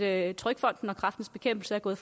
at trygfonden og kræftens bekæmpelse er gået